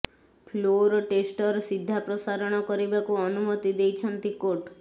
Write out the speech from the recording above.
floor ଟେଷ୍ଟର ସିଧା ପ୍ରସାରଣ କରିବାକୁ ଅନୁମତି ଦେଇଛନ୍ତି କୋର୍ଟ